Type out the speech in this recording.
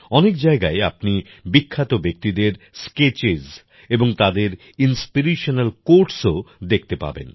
অনেক জায়গায় আপনি বিখ্যাত ব্যক্তিদের স্কেচেস এবং তাদের ইনস্পিরেশনাল কোটসও দেখতে পাবেন